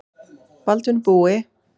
Baldvin Búi.